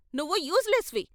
నువ్వు useless వి.